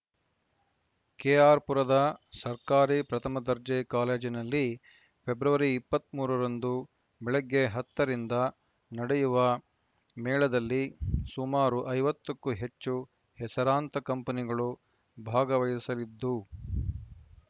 ಕೆಆರ್‌ಪುರದ ಸರ್ಕಾರಿ ಪ್ರಥಮ ದರ್ಜೆ ಕಾಲೇಜಿನಲ್ಲಿ ಫೆಬ್ರವರಿ ಇಪ್ಪತ್ತ್ ಮೂರ ರಂದು ಬೆಳಗ್ಗೆ ಹತ್ತ ರಿಂದ ನಡೆಯುವ ಮೇಳದಲ್ಲಿ ಸುಮಾರು ಐವತ್ತ ಕ್ಕೂ ಹೆಚ್ಚು ಹೆಸರಾಂತ ಕಂಪೆನಿಗಳು ಭಾಗವಹಿಸಲಿದ್ದು